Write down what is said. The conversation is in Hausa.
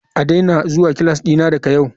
A daina zuwa class dina daga yau.